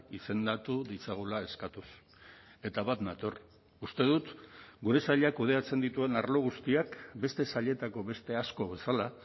izendatu ditzagula eskatuz eta bat nator uste dut gure sailak kudeatzen dituen arlo guztiak beste sailetako beste asko bezala